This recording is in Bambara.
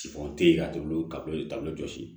Sifɔn tɛ yan jɔsi